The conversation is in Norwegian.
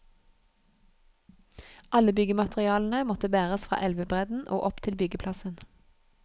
Alle byggematerialene måtte bæres fra elvebredden og opp til byggeplassen.